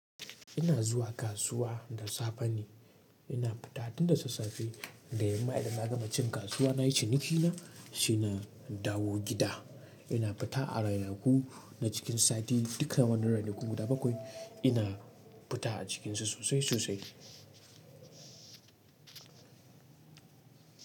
Ina zuwa kasuwa da safe ne, ina fita tun da sassafe da yamma idan na gama cin kasuwa nayi ciniki na, sai na dawo gida. Ina fita a ranaku na cikin sati duka wannan ranakun guda bakwai ina fita a cikinsu sosai sosai.